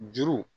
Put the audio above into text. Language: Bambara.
Juru